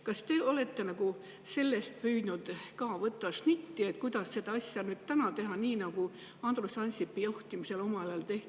Kas te olete ka püüdnud võtta selle pealt snitti, kuidas seda asja nüüd teha nii, nagu Andrus Ansipi juhtimisel omal ajal tehti?